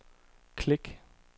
klik